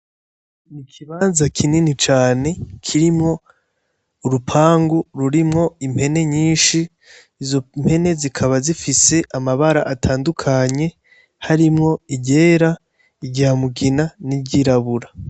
Ikibanza kinini cane kirimwo urupangu rurimwo impene nyinshi, izo mpene zikaba zifise amabara atandukanye, harimwo iryera, irya mugina n'iryirabura.